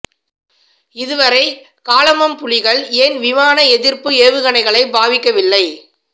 இது வரை காலமம் புலிகள் ஏன் விமான எதிப்பு ஏவகனைகளை பாவிக்கவில்லை